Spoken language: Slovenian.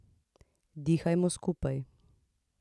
Dihamo skupaj.